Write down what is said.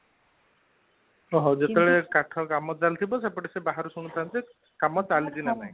ଓଃ ହୋ! ଯେତେବେଳେ କାଠ କାମ ଚାଲିଥିବ ସେପଟେ ସେ ବାହାରୁ ଶୁଣୁଥାନ୍ତି କାମ ଚାଲିଛି ନା ନାଇଁ